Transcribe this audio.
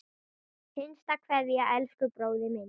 HINSTA KVEÐJA Elsku bróðir minn.